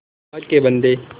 अल्लाह के बन्दे